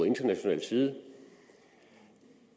international side